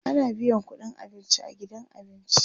ana biyan ƙudin abinci a gidan abinci